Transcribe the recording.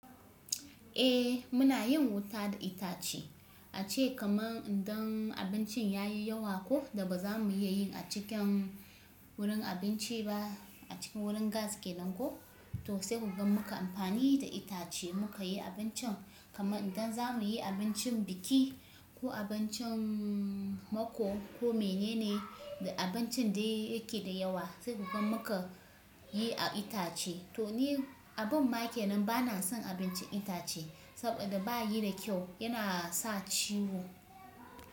Eh muna yin wuta da itace, ace kaman idan abincin ya yi yawa ko da ba za mu iya yin a cikin wurin abinci ba. A cikin wurin gas keken ko to sai gaban muka amfani da itace muka yi abincin. Kaman idan za mu yi abincin biki ko abincin mako ko mene ne da abincin da yake da yawa sai gaban muka yi a itace. To ni abin make nan bana son abincin itace saboda ba yi da kyau yana sa ciwo.